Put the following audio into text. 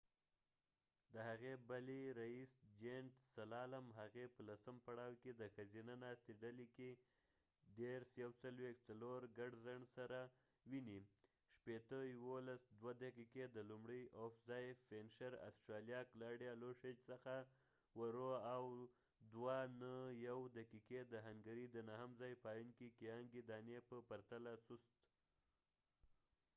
د هغې بلې ریس، جینټ سلالم، هغې په لسم پړاو کې د ښځینه ناستې ډلې کې د ۴:۴۱.۳۰ of ګډ ځنډ سره ویني، ۲:۱۱.۶۰ دقیقې د لومړي ځای فینشیر آسټریا کلاډیا لوشچ څخه ورو او ۱:۰۹.۰۲ دقیقې د هنګري د نهم ځای پایونکی ګیانګی داني په پرتله سست